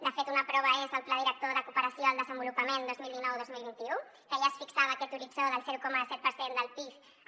de fet una prova és el pla director de cooperació al desenvolupament dos mil dinou dos mil vint u que ja es fixava aquest horitzó del zero coma set per cent del pib